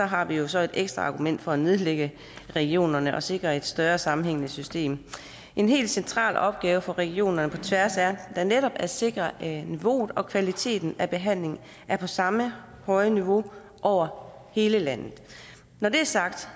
har vi jo så et ekstra argument for at nedlægge regionerne og sikre et større sammenhængende system en helt central opgave for regionerne på tværs er netop at sikre at niveauet og kvaliteten af behandlingen er på samme høje niveau over hele landet når det er sagt